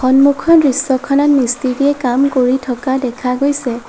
সন্মুখৰ দৃশ্যখনত মিষ্টিৰীয়ে কাম কৰি থকা দেখা গৈছে।